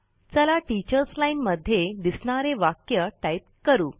चला teachers line मध्ये दिसणारे वाक्य टाइप करू